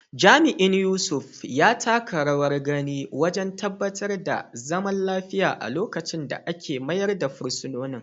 Jami’in Yusuf, ya taka rawar gani wajen tabbatar da zaman lafiya a lokacin da ake mayar da fursunonin.